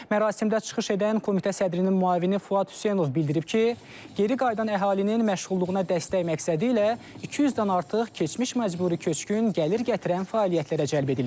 Mərasimdə çıxış edən Komitə sədrinin müavini Fuad Hüseynov bildirib ki, geri qayıdan əhalinin məşğulluğuna dəstək məqsədilə 200-dən artıq keçmiş məcburi köçkün gəlir gətirən fəaliyyətlərə cəlb edilib.